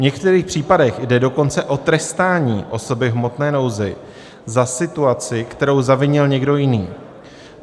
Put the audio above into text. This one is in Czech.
V některých případech jde dokonce o trestání osoby v hmotné nouzi za situaci, kterou zavinil někdo jiný.